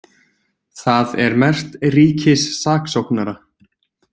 Það er merkt ríkissaksóknara.